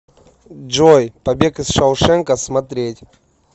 джой побег из шаушенка смотреть